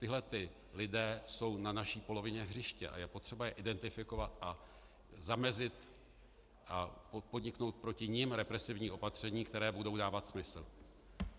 Tihle ti lidé jsou na naší polovině hřiště a je potřeba je identifikovat a zamezit a podniknout proti nim represivní opatření, která budou dávat smysl.